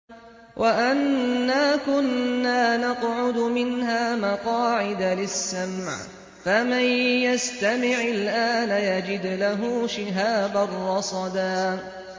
وَأَنَّا كُنَّا نَقْعُدُ مِنْهَا مَقَاعِدَ لِلسَّمْعِ ۖ فَمَن يَسْتَمِعِ الْآنَ يَجِدْ لَهُ شِهَابًا رَّصَدًا